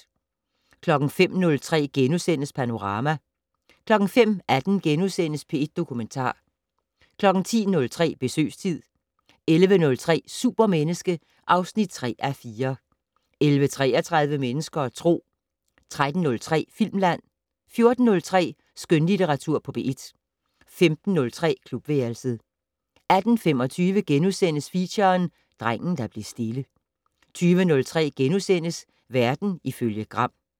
05:03: Panorama * 05:18: P1 Dokumentar * 10:03: Besøgstid 11:03: Supermenneske (3:4) 11:33: Mennesker og Tro 13:03: Filmland 14:03: Skønlitteratur på P1 15:03: Klubværelset 18:25: Feature: Drengen der blev stille * 20:03: Verden ifølge Gram *